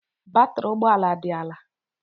Batrị ụgbọ ala dị ala